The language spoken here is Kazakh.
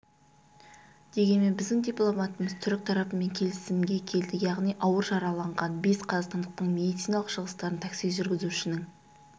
дегенмен біздің дипломатымыз түрік тарапымен келісімге келді яғни ауыр жараланған бес қазақстандықтың медициналық шығыстарын такси жүргізушінің